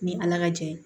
Ni ala ka jɛ ye